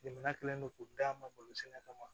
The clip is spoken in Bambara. Jamana kɛlen don k'u d'a ma sɛnɛ kama